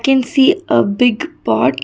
we can see a big pot.